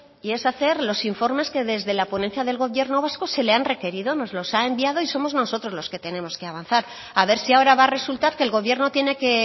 y es hacer los informes que desde la ponencia del gobierno vasco se le han requerido nos los ha enviado y somos nosotros los que tenemos que avanzar a ver si ahora va a resultar que el gobierno tiene que